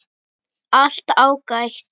Allt ágætt.